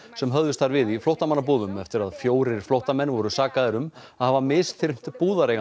sem höfðust þar við í flóttamannabúðum eftir að fjórir flóttamenn voru sakaðir um að hafa misþyrmt